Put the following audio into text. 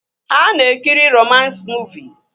Ha na-ekiri romans muuvi